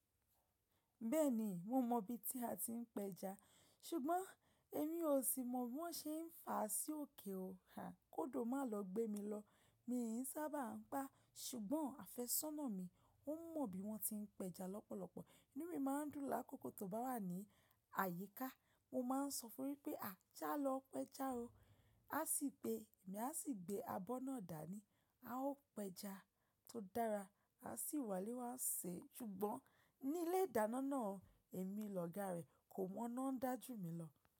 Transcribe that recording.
Bẹ́ẹ̀ni, mo mọ ibi tí a ti ń pẹja, ṣùgbọ́n èmi ò sí mọ bí wọ́n ṣe ń fà á sí òkè. Kódò má lọ gbé mi lọ, mi n sábà ń pá, ṣùgbọ́n àfẹ́sọ́nà mi ó mọ bí wọ́n ti ń pẹja lọ́pọ̀lọpọ̀. Numi má a dún lákòókò tó bá wà ní àyíká, mo máa sọ fún un wipé “à jà lọ pẹja o”, a sì gbé, èmi a sì gbé abọ́ náà dání. A ó pẹja tó dára, a sì wálé wa ṣé. Ṣùgbọ́n ní ilé ìdáná náà, èmi lọ̀gá rẹ̀ kò mọ́ náà ń dá jú mi lọ.